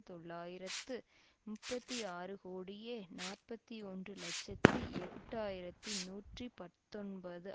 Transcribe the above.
தொள்ளாயிரத்து முப்பத்தி ஆறு கோடியே நாற்பத்தி ஒன்று இலட்சத்தி எட்டு ஆயிரத்தி நூற்றி பத்தொன்பது